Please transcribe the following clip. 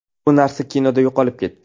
Bu narsa kinoda yo‘qolib ketdi.